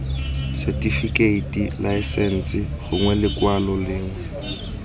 setifikeiting laesense gongwe lekwalo lengwe